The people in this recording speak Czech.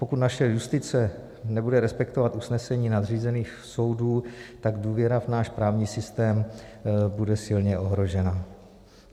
Pokud naše justice nebude respektovat usnesení nadřízených soudů, tak důvěra v náš právní systém bude silně ohrožena.